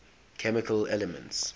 chemical elements